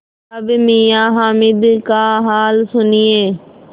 अब मियाँ हामिद का हाल सुनिए